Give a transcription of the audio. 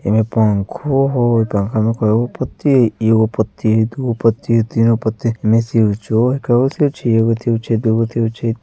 एमे पंखों हो पंखा में कई गो पत्ती हई एगो पत्ती दू गो पत्ती तिन गो पत्ती एमे स्विचो हई के गो स्विच हई एगो स्विच है दू गो स्विच है ---